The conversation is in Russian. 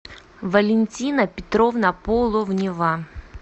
валентина петровна половнева